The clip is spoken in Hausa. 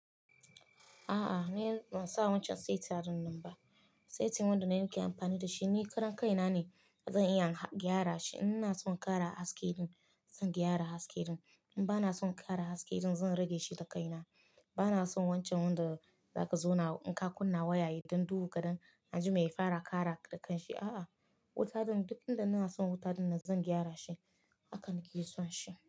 A'a, ni ban sa wancan waiting ran nan ba. Saitan wanda nake amfani da shi ni karon kaina ne, zan iya gyara shi. In na so ƙara haske, zan gyara haske. In ba na so ƙara haske, zan rage shi da kaina. Ba na son wancan wanda zaka zauna in ka kunna waya ya yita duhu kadan aji mai ya ƙara da kan A'a, wuta dinnan na so zan gyara shi. Haka nake son shi.